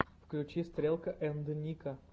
включи стрелка энд ника